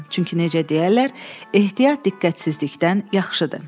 Çünki necə deyərlər, ehtiyat diqqətsizlikdən yaxşıdır.